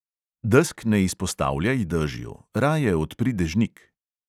Desk ne izpostavljaj dežju, raje odpri dežnik.